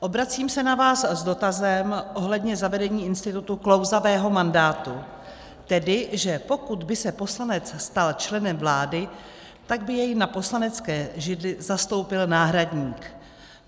Obracím se na vás s dotazem ohledně zavedení institutu klouzavého mandátu, tedy že pokud by se poslanec stal členem vlády, tak by jej na poslanecké židli zastoupil náhradník.